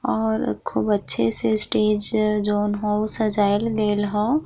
और खूब अच्छे से स्टेज जोवन हउ सजाइल गइल ह।